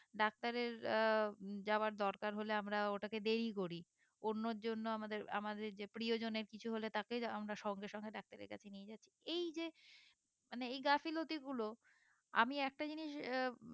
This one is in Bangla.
ডাক্তারের আহ যাওয়ার দরকার হলে আমরা ওটা কে দেরি করি অন্যের জন্য আমাদের আমাদের যে প্রিয় জনের কিছু হলে তাকে আমরা সঙ্গে সঙ্গে ডাক্তারের কাছে নিয়ে যাচ্ছি এই যে মানে এই গাফিলতি গুলো আমি একটা জিনিস আহ